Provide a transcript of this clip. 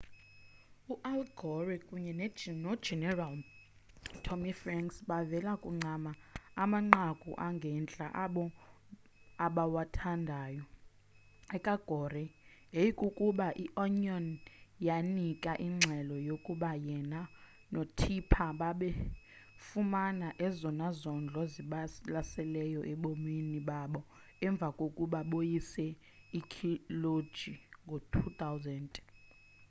u-al gore kunye nogeneral tommy franks bavele bancama amanqaku angentla abo abawathandayo eka-gore yayikukuba i-onion yanika ingxelo yokuba yena no-tipper babefumana ezona zondo zibalaseleyo ebomini babo emva kokuba boyise ikholeji ngo-2000